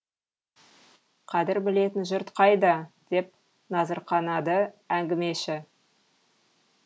қадір білетін жұрт қайда деп назырқанады әңгімеші